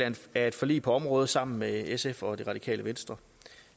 af et forlig på området sammen med sf og radikale venstre